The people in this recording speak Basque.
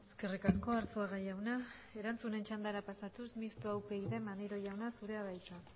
eskerrik asko arzuaga jauna erantzunen txandara pasatuz mistoa upyd maneiro jauna zurea da hitza